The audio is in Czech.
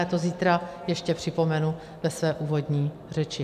Já to zítra ještě připomenu ve své úvodní řeči.